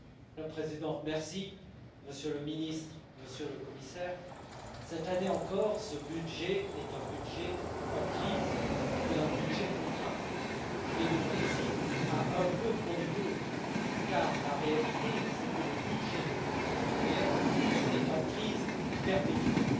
Madame la Présidente, Monsieur le Ministre, Monsieur le Commissaire, cette année encore ce budget est un budget en crise et un budget contraint, mais le Brexit a un peu bon dos car la réalité, c'est que le budget de l'Union européenne est en crise perpétuelle.